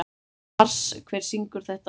Mars, hver syngur þetta lag?